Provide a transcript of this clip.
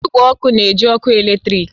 Igwe ọkụ na-eji ọkụ eletrik